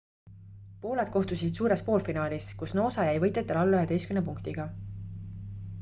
pooled kohtusid suures poolfinaalis kus noosa jäi võitjatele alla 11 punktiga